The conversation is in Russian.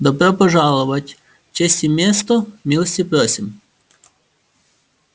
добро пожаловать честь и место милости просим